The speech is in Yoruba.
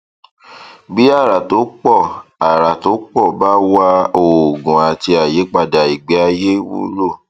bí àrà tó pọ àrà tó pọ bá wà oògùn àti àyípadà ìgbé ayé wúlò